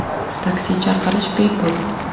Taksi chaqirish bepul.